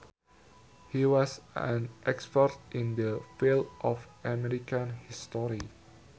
He was an expert in the field of American history